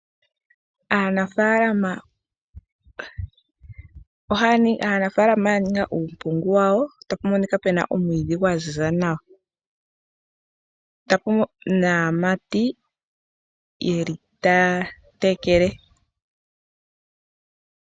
Aanafalama ya ninga uumpungu wawo ta pu monika pe na omwiidhi gwa ziza nawa, naamati taya tekele.